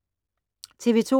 TV 2